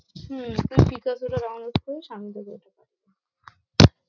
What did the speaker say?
হম তুই পিকাজোটা download করিস আমি তোকে